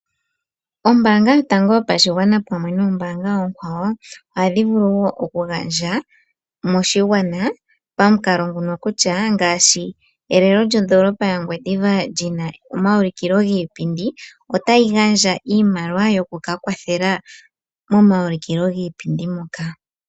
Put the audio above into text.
Ombaanga yotango yopashigwana pamwe noombaanga oonkwawo ohadhi vulu wo okugandja moshigwana pamukalo nguno kutya ngaashi, elelo lyondoolopa yaOngwediva lina omawulikilo giipindi, otayi gandja iimaliwa yokukawathela momawulikilo giipindi moka.